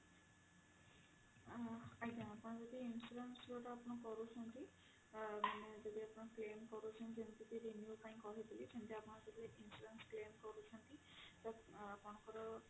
ଆଜ୍ଞା ଆପଣ ଯଦି insurance ଯୋଉଟା ଆପଣ କରୁଛନ୍ତି ମାନେ ଯଦି ଆପଣ claim କରୁଛନ୍ତି ଯେମିତି କି renew ପାଇଁ କହିଥିଲି ସେମିତି ଆପଣ ଯଦି insurance claim କରୁଛନ୍ତି ତ ଆପଣଙ୍କର